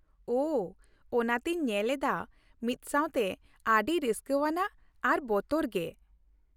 ᱚ ! ᱚᱱᱟᱛᱤᱧ ᱧᱮᱞ ᱮᱫᱟ ᱢᱤᱫᱥᱟᱶᱛᱮ ᱚᱹᱰᱤ ᱨᱟᱹᱥᱠᱞᱟᱹᱣᱟᱱᱟᱜ ᱟᱨ ᱵᱚᱛᱚᱨᱜᱮ ᱾